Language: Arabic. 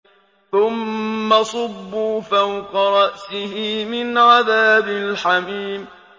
ثُمَّ صُبُّوا فَوْقَ رَأْسِهِ مِنْ عَذَابِ الْحَمِيمِ